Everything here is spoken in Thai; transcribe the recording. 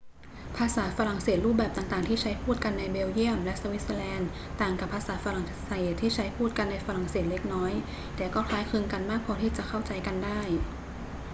ภาษาฝรั่งเศสรูปแบบต่าง ๆ ที่ใช้พูดกันในเบลเยียมและสวิตเซอร์แลนด์ต่างกับภาษาฝรั่งเศสที่ใช้พูดกันในฝรั่งเศสเล็กน้อย แต่ก็คล้ายคลึงกันมากพอที่จะเข้าใจกันได้